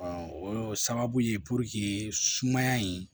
o sababu ye sumaya in